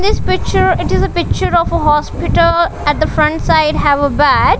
in picture it is a picture of a hospital at the front side have a bed.